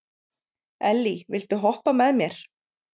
Elly, viltu hoppa með mér?